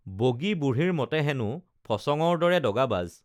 বগী বুঢ়ীৰ মতে হেনো ফচঙৰ দৰে দগাবাজ